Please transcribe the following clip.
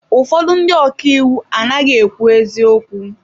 Ụfọdụ ndị ọka iwu anaghị ekwu eziokwu.